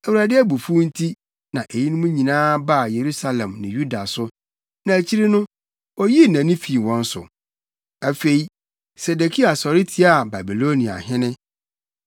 Awurade abufuw nti na eyinom nyinaa baa Yerusalem ne Yuda so, na akyiri no, oyii nʼani fii wɔn so. Afei, Sedekia sɔre tiaa Babiloniahene.